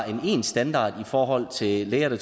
en standard i forhold til læger der